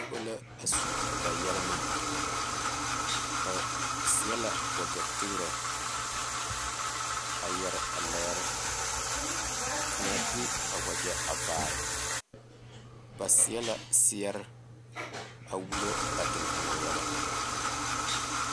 Noba la su ba yɛremɛ ba seɛ la wagyɛ tegrɛ a yɛre a lɛɛr ka kaŋa de a wagyɛ vaare ba seɛ la seɛre a wullo ba tiŋkoɔ yɛlɛ.